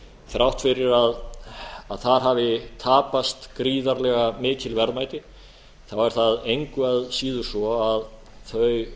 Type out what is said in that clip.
þrátt fyrir að þar hafi tapast gríðarlega mikil verðmæti er það engu að síður svo að þau